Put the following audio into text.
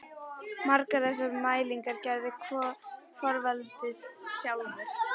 Margar þessara mælinga gerði Þorvaldur sjálfur.